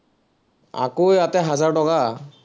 আকৌ এটা হাজাৰ টকা